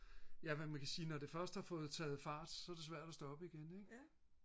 ja hvad man kan sige når det først har taget fart så er det svært at stoppe igen ikke